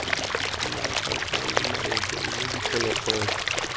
dinaka kana maoto mme diphologolo